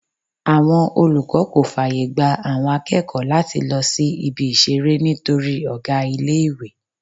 Àwọn olùkọ́ kò fàyègba àwọn akẹ́kọ̀ọ́ láti lọ sí Ibi-ìṣeré nítorí ọ̀gá ilé-ìwé.